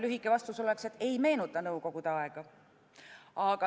Lühike vastus oleks, et ei meenuta nõukogude aega.